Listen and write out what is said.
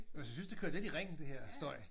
Men jeg synes det kører lidt i ring det her støj